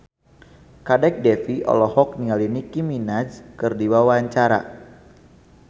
Kadek Devi olohok ningali Nicky Minaj keur diwawancara